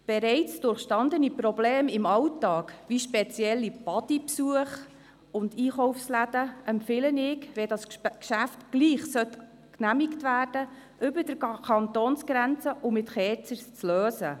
Ich empfehle, wenn dieses Geschäft doch genehmigt werden sollte, bereits durchgestandene Probleme im Alltag, wie spezielle Besuche von Badeanstalten und Einkaufsläden, über die Kantonsgrenze hinweg und mit Kerzers zu lösen.